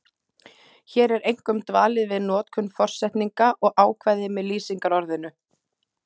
Hér er einkum dvalið við notkun forsetninga og ákvæði með lýsingarorðinu.